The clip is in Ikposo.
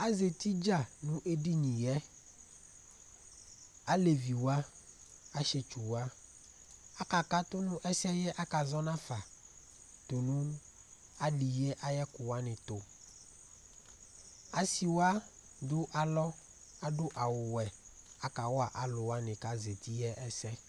Azɛti dza nʋ edini yɛ: alevi wa, asiɛtsu wa Aka katu nʋ ɛsɛ aka zɔ nʋ afa tʋnu ali yɛ ayʋ ɛkʋ wani tu Asi wa adu alɔ adu awu wɛ akawa alu wa kʋ azɛti yɛ ɛsɛ